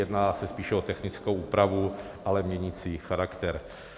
Jedná se spíše o technickou úpravu, ale měnící charakter.